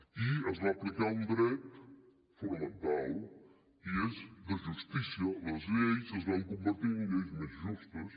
i es va aplicar un dret fonamental i és de justícia les lleis es van convertir en unes lleis més justes